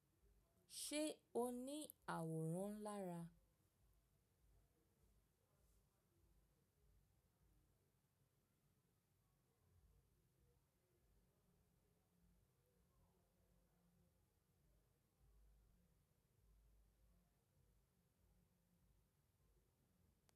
Ṣé o ní àwòrán lara?